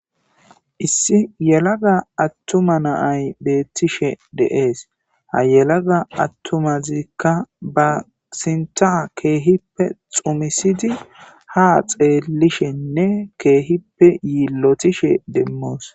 Issi yelada attuma naay beettishe deees ha yelaga attumazikka basinta keehippe xumisidi ha xeellishenne keehippe yiillotishe demmoos.